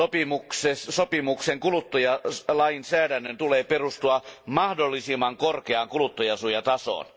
Sen mukaan kuluttajalainsäädännön tulee perustua mahdollisimman korkeaan kuluttajansuojan tasoon.